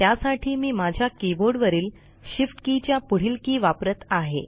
त्यासाठी मी माझ्या कीबोर्ड वरील shift के च्या पुढील के वापरत आहे